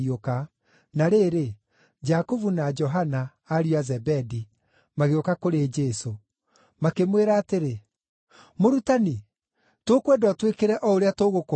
Na rĩrĩ, Jakubu na Johana, ariũ a Zebedi, magĩũka kũrĩ Jesũ. Makĩmwĩra atĩrĩ, “Mũrutani, tũkwenda ũtwĩkĩre o ũrĩa tũgũkũhooya.”